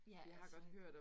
Ja, altså